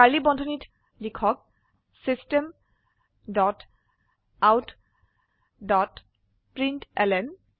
curly বন্ধনীত লিখক system dot out dot println